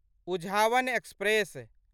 Uzhavan express